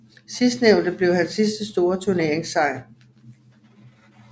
Sidstnævnte blev hans sidste store turneringssejr